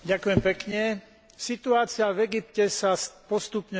Situácia v Egypte sa postupne stáva kritickou.